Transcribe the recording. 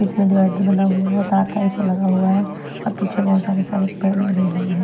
इसमें डिवाइडर बना हुआ है तार टाइप सा लगा हुआ है और पीछे बहीत सारे सारे पेड़ लगे हुएं हैं।